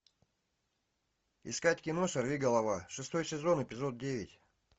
искать кино сорвиголова шестой сезон эпизод девять